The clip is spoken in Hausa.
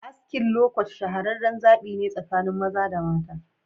Askin "lowcut" shahareren zabi ne tsakanin mara da mata.